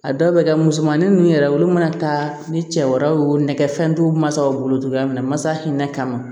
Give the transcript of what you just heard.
A dɔw bɛ kɛ musomanin ninnu yɛrɛ olu mana taa ni cɛ wɛrɛw ye o nɛgɛ fɛn dɔw masaw bolo togoya min na masa hinɛ kama